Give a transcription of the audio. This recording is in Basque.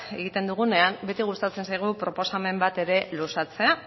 egiten dugunean beti gustatzen zaigu proposamen bat ere luzatzea